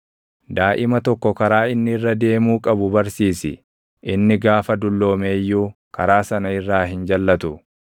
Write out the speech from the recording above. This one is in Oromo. Daaʼima tokko karaa inni irra deemuu qabu barsiisi; inni gaafa dulloome iyyuu karaa sana irraa hin jalʼatu.